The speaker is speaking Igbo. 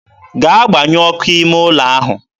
gaa gbanyuo ọkụ ime ụlọ ahụ!